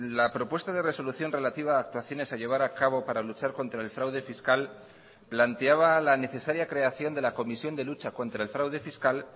la propuesta de resolución relativa a actuaciones a llevar a cabo para luchar contra el fraude fiscal planteaba la necesaria creación de la comisión de lucha contra el fraude fiscal